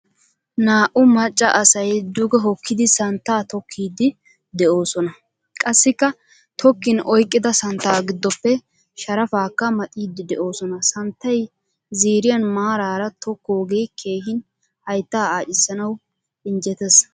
Naa'u macca asay duge hokkidi santta tokkidi deosona. Qassikka tokkin oyqqida santta giddope sharaffakka maxxiidi deosona. Santtay ziiriyan maararaa tokkoge keehin haytta aacisanawu injjettees.